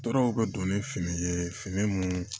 Tɔɔrɔw ka don ni fini ye fini mun